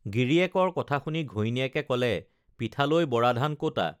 গিৰিয়েকৰ কথা শুনি ঘৈণীয়েকে ক'লে পিঠালৈ বৰাধান ক'তা